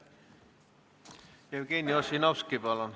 Jevgeni Ossinovski, palun!